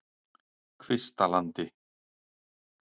Kvistalandi